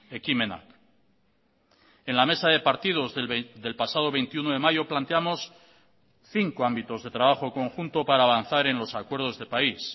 ekimenak en la mesa de partidos del pasado veintiuno de mayo planteamos cinco ámbitos de trabajo conjunto para avanzar en los acuerdos de país